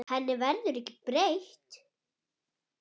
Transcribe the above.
Henni verður ekki breytt.